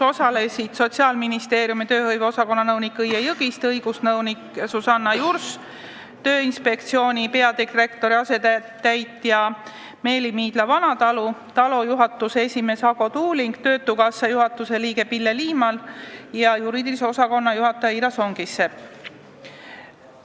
Osalesid Sotsiaalministeeriumi tööhõive osakonna nõunik Õie Jõgiste, õigusnõunik Susanna Jurs, Tööinspektsiooni peadirektori asetäitja Meeli Miidla-Vanatalu, TALO juhatuse esimees Ago Tuuling, töötukassa juhatuse liige Pille Liimal ja juriidilise osakonna juhataja Ira Songisepp.